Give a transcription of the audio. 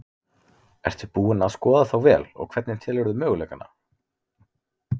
Ertu búin að skoða þá vel og hvernig telurðu möguleikana?